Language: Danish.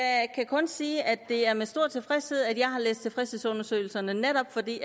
kun sige at det er med stor tilfredshed at jeg har læst tilfredshedsundersøgelserne netop fordi